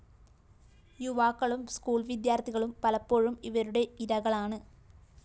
യുവാക്കളും സ്കൂൾ വിദ്യാര്‍ത്ഥികളും പലപ്പോഴും ഇവരുടെ ഇരകളാണ്